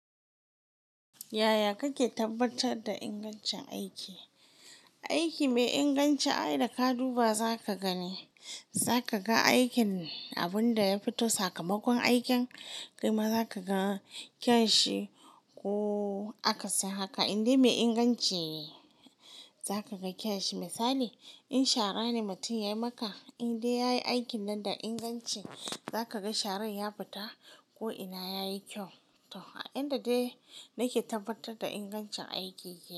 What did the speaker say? Yaya kake tabbatar da ingancin aiki? Aiki mai inganci ai da ka duba zaka gani. Zaka ga aikin abin da ya fito sakamakon aikin. Kai ma za ka ga kyan shi ko aka sin haka. In dai mai inganci za ka ga kyan shi. Misali in shara ne mutum ya yi maka in dai ya yi aikin nan da inganci za ka ga sharan ya fita ko ina yayi kyau. To a inda dai nake tabbatar da ingancin aiki yake.